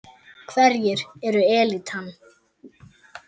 Hverjir eru elítan?